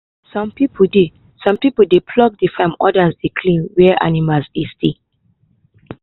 some people dey some people dey plough the farm others dey clean where animals dey stay.